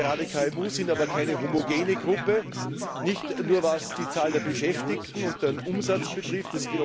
Gerade KMU sind aber keine homogene Gruppe, nicht nur was die Zahl der Beschäftigten und den Umsatz betrifft.